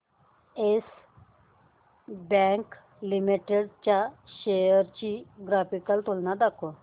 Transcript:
yes bank limited च्या shares ची graphical तुलना दाखव